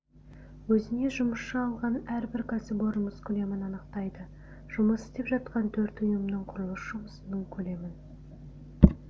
өзіне жұмысшы алған әрбір кәсіпорын жұмыс көлемін анықтайды жұмыс істеп жатқан төрт ұйымның құрылыс жұмысының көлемін